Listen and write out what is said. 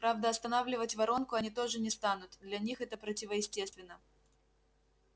правда останавливать воронку они тоже не станут для них это противоестественно